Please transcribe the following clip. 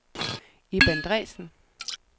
Ib Andresen